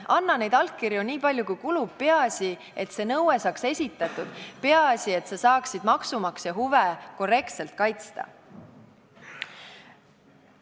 Anna allkirju nii palju kui kulub, peaasi, et see nõue saaks esitatud, peaasi, et sa saaksid maksumaksja huve korrektselt kaitsta.